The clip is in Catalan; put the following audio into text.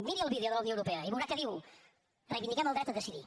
miri el vídeo de la unió europea i veurà que diu reivindiquem el dret a decidir